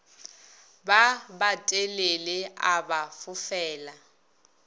ba batelele a ba fofela